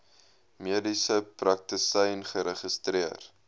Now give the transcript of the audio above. mediese praktisyn geregistreer